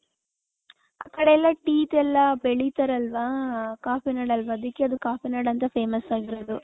ಆ ಕಡೆ tea ದು ಎಲ್ಲಾ ಬೆಳಿತಾರೆ ಅಲ್ವ ಕಾಫೀ ನಾಡ್ ಅಲ್ವ ಅದಿಕ್ಕೆ ಅದು ಕಾಫಿ ನಾಡ್ ಅಂತ famous ಆಗಿರೋದು .